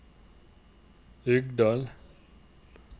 Uggdal